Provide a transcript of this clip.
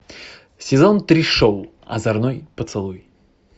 сезон три шоу озорной поцелуй